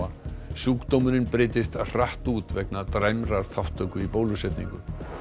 sjúkdómurinn breiddist hratt út vegna dræmrar þátttöku í bólusetningu